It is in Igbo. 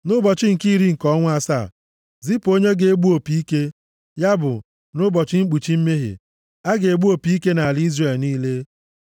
Nʼụbọchị nke iri nke ọnwa asaa, zipụ onye ga-egbu opi ike, ya bụ, nʼụbọchị mkpuchi mmehie, a ga-egbu opi ike nʼala Izrel niile.